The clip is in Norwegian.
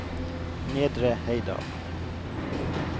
Nedre Heidal